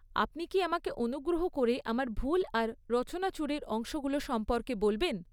আপনি কি আমাকে অনুগ্রহ করে আমার ভুল আর রচনাচুরির অংশগুলো সম্পর্কে বলবেন?